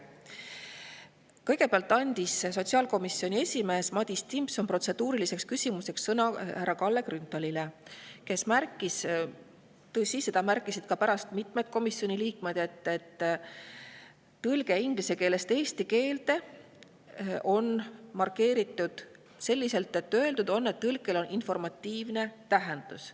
Kõigepealt andis sotsiaalkomisjoni esimees Madis Timpson protseduuriliseks küsimuseks sõna härra Kalle Grünthalile, kes märkis – tõsi, seda märkisid pärast ka mitmed komisjoni liikmed –, et inglise keelest eesti keelde on markeeritud, et tõlkel on informatiivne tähendus.